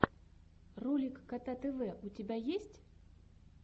ролик кота тв у тебя есть